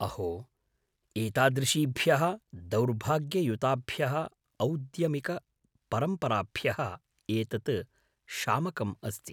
अहो ! एतादृशीभ्यः दौर्भाग्ययुताभ्यः औद्यमिककपरम्पराभ्यः एतत् शामकम् अस्ति।